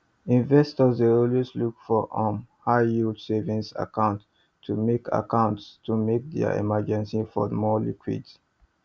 investors dey always look for um high yield savings accounts to make accounts to make dia emergency fund more liquid